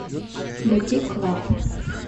бутик лав